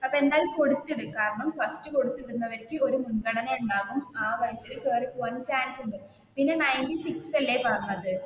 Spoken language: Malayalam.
അപ്പൊ എന്തായാലും കൊടുത്തിട് കാരണം ഫസ്റ്റ് കൊടുത്തിടുന്നവർക്ക് ഒരു മുൻഗണന ഉണ്ടാവും ആ വഴി കേറിപ്പോവാനും ചാൻസ് ഉണ്ട്. പിന്നെ നൈൻറ്റി സിക്സ് അല്ലെ പറഞ്ഞത്